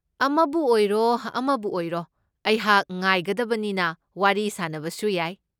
ꯑꯃꯕꯨ ꯑꯣꯏꯔꯣ ꯑꯃꯕꯨ ꯑꯣꯏꯔꯣ ꯑꯩꯍꯥꯛ ꯉꯥꯏꯒꯗꯕꯅꯤꯅ ꯋꯥꯔꯤ ꯁꯥꯅꯕꯁꯨ ꯌꯥꯏ꯫